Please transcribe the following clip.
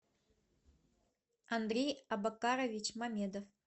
андрей абакарович мамедов